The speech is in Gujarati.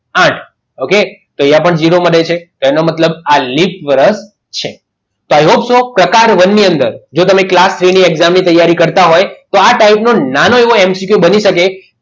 આઠ okay એને પણ ઝીરો વધે છે એનો મતલબ આ લિપ વર્ષ છે પ્રકાર વનની અંદર જો તમે class three ની exam ની તૈયારી કરતા હોય તો આ type નો નાનો એવો MCQ બની શકે